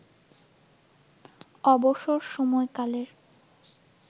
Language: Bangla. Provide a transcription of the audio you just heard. অবসর সময়কালের